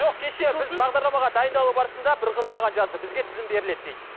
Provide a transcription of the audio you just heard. жоқ кеше біз бағдарламаға дайындалу барысында бір қыз маған жазды бізге тізім беріледі дейді